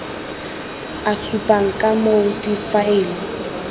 e supang ka moo difaele